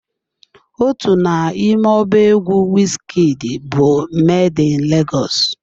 Otu n'ime ọba egwu Wizkid bụ "Made in Legọs"